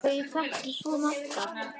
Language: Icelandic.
Þau þekktu svo marga.